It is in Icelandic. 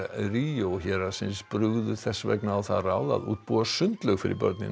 Rio héraðsins brugðu þess vegna á það ráð að útbúa sundlaug fyrir börnin